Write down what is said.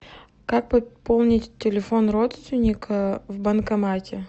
как пополнить телефон родственника в банкомате